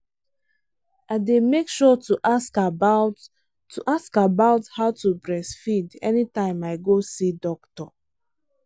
i day make sure to ask about to ask about how to breastfeed anytime i go see doctor.